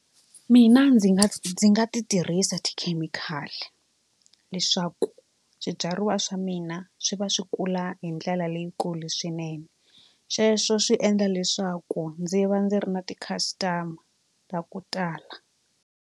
Mina ndzi nga ndzi nga ti tirhisa tikhemikhali leswaku swibyariwa swa mina swi va swi kula hi ndlela leyikulu swinene sweswo swi endla leswaku ndzi va ndzi ri na ti-customer ta ku tala.